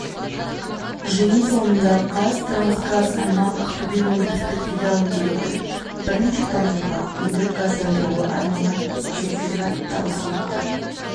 жиын соңында қазтрансгаз аймақ ақтөбе өндірістік филиалының директоры бірнеше тұрғынға үйді газдандыруға арналған сертификат табыс етті